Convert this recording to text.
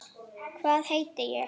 Hvað heiti ég?